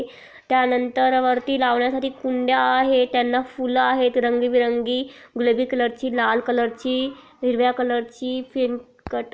त्यानंतर वरती लावण्यासाठी कुंडया आहेत फूल आहेत रंगीबिरंगी गूलाबी कलर ची लाल कलर ची हिरव्या कलर ची फीमकट --